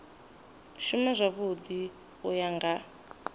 shuma zwavhui u ya nga